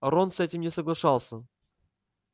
а рон с этим не соглашался